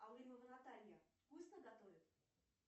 алымова наталья вкусно готовит